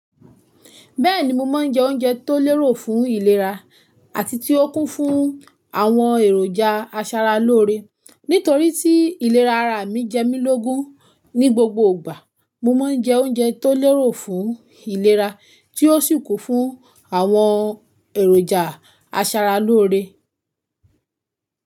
Bẹ́ẹ̀ni, mo máa ń jẹ oúnjẹ tó lérò fún ìlera àti tí ó kún fún àwọn èròjà asaralóore. Nítorí tí ìlera ara mi jẹ mí lógun ní gbogbo ìgbà mo máa ń jẹ oúnjẹ tó lérò fún ìlera tí ó sì kún fún àwọn èròjà asaralóore.